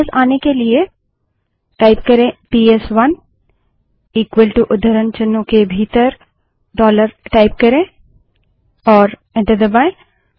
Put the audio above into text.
वापस आने के लिए पीएसवन इक्वल टू उद्धरण चिन्हों के भीतर डॉलर टाइप करें और एंटर दबायें